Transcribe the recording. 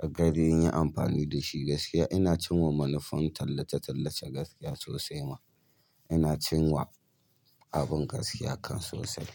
a gari in yi amfani da shi gaskiya. Ina cinwa manufofin tallace-tallace gaskiya sosai ma. Ina cinwa abin gaskiya kan sosai.